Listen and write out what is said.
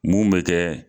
Mun bɛ kɛ